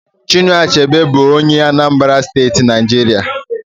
Chinua Achebe bụrụ onye Anambra State, Nigeria